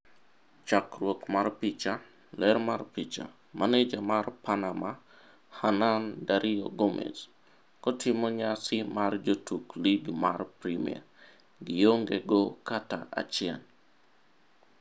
Chakruok mar picha, Getty Images. Ler mar picha, Maneja mar Panama, Hernan Dario Gomez, kotimo nyasi mar jotuk lig mar premia:gi onge go kata achiel.